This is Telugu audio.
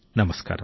నమస్కారం